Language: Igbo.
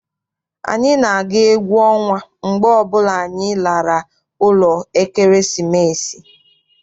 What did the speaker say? Anyị na-aga egwu ọnwa mgbe ọbụla anyị lara ụlọ ekeresimesi.